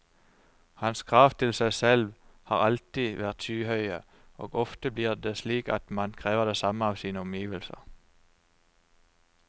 Hans krav til seg selv har alltid vært skyhøye, og ofte blir det slik at man krever det samme av sine omgivelser.